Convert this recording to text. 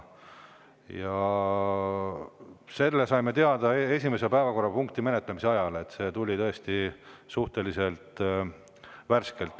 Selle saime teada esimese päevakorrapunkti menetlemise ajal, see tuli tõesti suhteliselt värskelt.